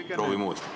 No proovime uuesti.